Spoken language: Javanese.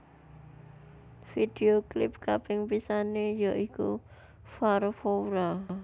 Vidéo klip kaping pisané ya iku Farfoura